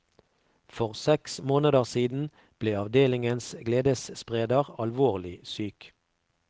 For seks måneder siden ble avdelingens gledesspreder alvorlig syk.